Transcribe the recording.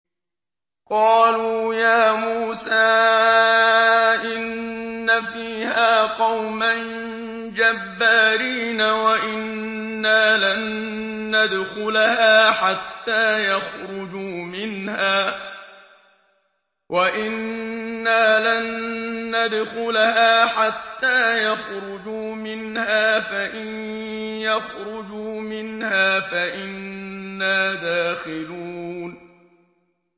قَالُوا يَا مُوسَىٰ إِنَّ فِيهَا قَوْمًا جَبَّارِينَ وَإِنَّا لَن نَّدْخُلَهَا حَتَّىٰ يَخْرُجُوا مِنْهَا فَإِن يَخْرُجُوا مِنْهَا فَإِنَّا دَاخِلُونَ